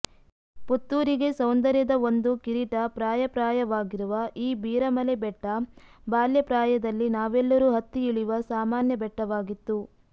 ಪುತ್ತೂರಿಗೆ ಸೌಂದರ್ಯದ ಒಂದು ಕಿರೀಟ ಪ್ರಾಯಪ್ರಾಯವಾಗಿರುವ ಈ ಬೀರಮಲೆ ಬೆಟ್ಟ ಬಾಲ್ಯ ಪ್ರಾಯದಲ್ಲಿ ನಾವೆಲ್ಲರೂ ಹತ್ತಿ ಇಳಿಯುವ ಸಾಮಾನ್ಯ ಬೆಟ್ಟವಾಗಿತ್ತು